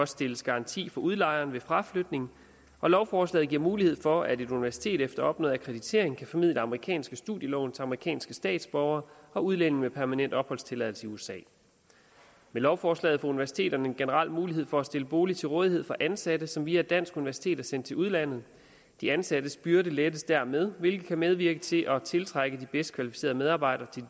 stilles garanti for udlejeren ved fraflytning og lovforslaget giver mulighed for at et universitet efter opnået akkreditering kan formidle amerikanske studielån til amerikanske statsborgere og udlændinge med permanent opholdstilladelse i usa med lovforslaget får universiteterne en generel mulighed for at stille bolig til rådighed for ansatte som via et dansk universitet er sendt til udlandet de ansattes byrde lettes dermed hvilket kan medvirke til at tiltrække de bedst kvalificerede medarbejdere til